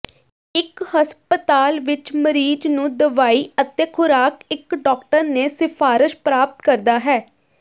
ਇੱਕ ਹਸਪਤਾਲ ਵਿੱਚ ਮਰੀਜ਼ ਨੂੰ ਦਵਾਈ ਅਤੇ ਖੁਰਾਕ ਇੱਕ ਡਾਕਟਰ ਨੇ ਸਿਫਾਰਸ਼ ਪ੍ਰਾਪਤ ਕਰਦਾ ਹੈ